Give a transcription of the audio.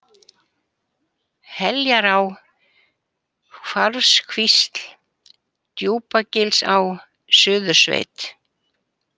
Heljará, Hvarfskvísl, Djúpagilsá, Suðursveit